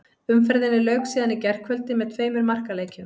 Umferðinni lauk síðan í gærkvöldi með tveimur markaleikjum.